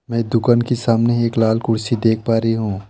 मैं दुकान के सामने एक लाल कुर्सी देख पा रही हूं।